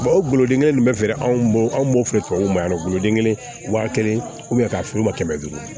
o gulode in bɛ feere anw bolo anw b'o feere tubabuw ma yan nɔ denkɛnɛ wa kelen k'a feere u ma kɛmɛ duuru